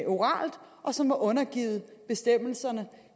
oralt og som er undergivet bestemmelserne